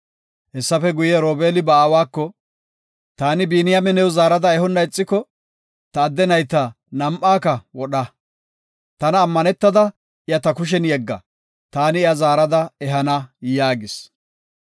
Hessafe guye Robeeli ba aawako, “Taani Biniyaame new zaarada ehonna ixiko, ta adde nayta nam7aaka wodha. Tana ammanetada iya ta kushen yegga; taani iya zaarada ehana” yaagis.